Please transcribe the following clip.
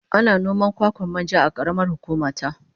Ana noman kwakwan manja a karamar hukuma ta